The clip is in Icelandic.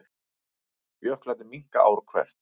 Jöklarnir minnka ár hvert